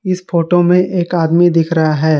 इस फोटो में एक आदमी दिख रहा है।